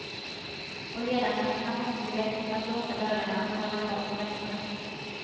Och ledamöterna måste bli bättre på att låsa dörrarna och hålla koll på väskorna.